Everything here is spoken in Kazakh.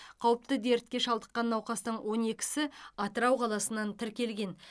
қауіпті дертке шалдыққан науқастың он екісі атырау қаласынан тіркелген